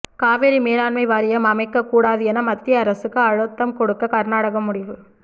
காவிரி மேலாண்மை வாரியம் அமைக்கக் கூடாது என மத்திய அரசுக்கு அழுத்தம் கொடுக்க கர்நாடகம் முடிவு